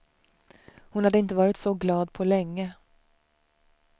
Hon hade inte varit så glad på länge.